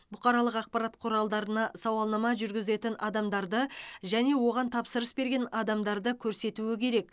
бұқаралық ақпарат құралдарына сауалнама жүргізетін адамдарды және оған тапсырыс берген адамдарды көрсетуі керек